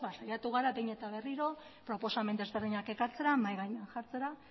saiatu gara behin eta berriro proposamen desberdinak ekartzera mahai gainean jartzera